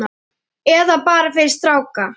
Eða bara fyrir stráka!